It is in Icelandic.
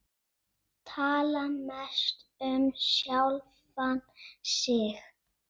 Tala mest um sjálfan sig.